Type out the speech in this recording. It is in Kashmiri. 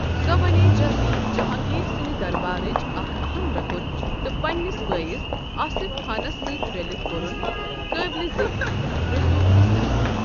سۄ بَنیے جلدی جہانٛگیٖر سٕنٛدِ دربارٕچ اَکھ اَہم رُکُن تہٕ پنٛنِس بٲیِس آصف خانس سۭتۍ رٔلِتھ کوٚرُن قٲبلہِ ذِکِر رسوخ اِستعمال ۔